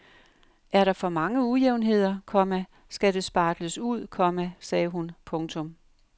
Er der for mange ujævnheder, komma skal det spartles ud, komma sagde hun. punktum